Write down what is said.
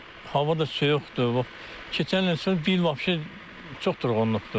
Hava da soyuqdur, keçən il bu il vapse çox durğunluqdur.